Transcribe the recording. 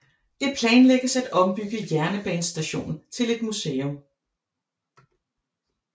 Det planlægges at ombygge jernbanestationen til et museum